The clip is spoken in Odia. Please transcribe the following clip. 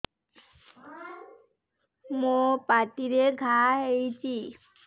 ମୋର ପାଟିରେ ଘା ହେଇଚି